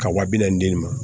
Ka wa bi naani di nin ma